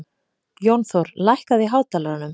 Jónþór, lækkaðu í hátalaranum.